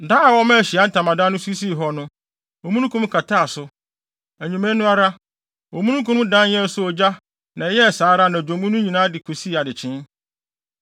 Da a wɔmaa Ahyiae Ntamadan no so sii hɔ no, omununkum kataa so. Anwummere no ara, omununkum no dan yɛɛ sɛ ogya na ɛyɛɛ saa ara anadwo mu no nyinaa de kosii adekyee.